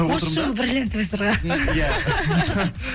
осы жылы бриллиантовый сырға